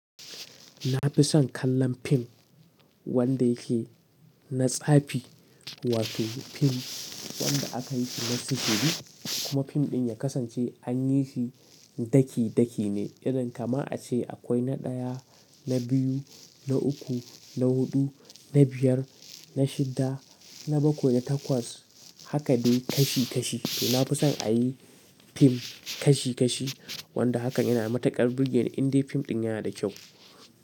Na fi son kallon fim wanda yake na tsafi wato fim wanda aka yi shi na sitibi kuma fim ɗin ya kasance an yi shi daki daki ne, irin kama a ce akwai na ɗaya, na biyu, na uku, na huɗu, na biyar, na shida, na bakwai, na takwas, haka dai kashi kashi. To na fi son a yi fim kashi kashi, wanda hakan yana matukar burge ni in dai fim ɗin yana da kyau.